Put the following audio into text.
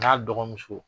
N'a dɔgɔmuso